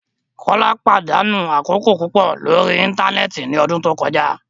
Kola padanu akoko pupọ lori íńtánẹ́ẹ̀tì ni ọdun to kọja